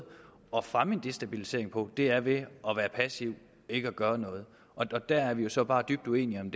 at fremme destabilisering på er at være passiv ikke at gøre noget det er vi jo så bare dybt uenige om